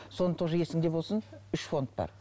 соны тоже есіңде болсын үш фонд бар